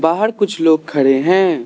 बाहर कुछ लोग खड़े हैं।